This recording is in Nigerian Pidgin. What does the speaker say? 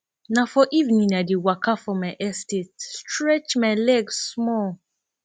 na for evening i dey waka for my estate stretch my leg small